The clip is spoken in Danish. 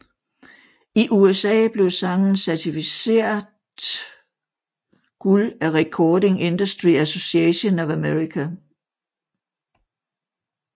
I USA blev sangen certificert guld af Recording Industry Association of America